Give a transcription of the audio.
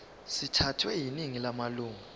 sithathwe yiningi lamalunga